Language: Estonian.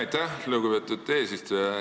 Aitäh, lugupeetud eesistuja!